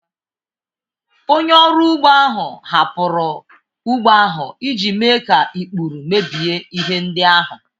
Onye ọrụ ugbo ahụ hapụrụ ugbo ahụ iji mee ka ikpuru mebie ihe ndị ahụ